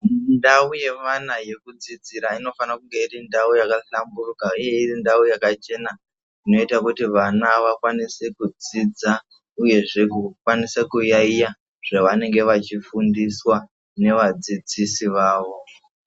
Ndau yeana yekudzidzira inofana kunge iri ndau yakahlamburika, uye iri ndau yakachena inoita kuti vana vakwanise kudzidza, uyezve kukwanisa kuyaiya zvavanenge vachifundiswa nevadzidzisi vavo.